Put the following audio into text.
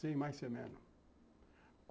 Sem mais sem menos.